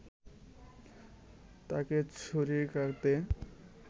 তাকে ছুরিকাঘাতে